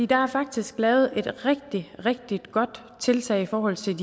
der er faktisk lavet et rigtig rigtig godt tiltag i forhold til